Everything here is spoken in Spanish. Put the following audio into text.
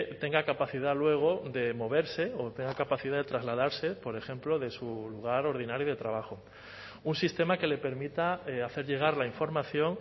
tenga capacidad luego de moverse o tenga capacidad de trasladarse por ejemplo de su lugar ordinario de trabajo un sistema que le permita hacer llegar la información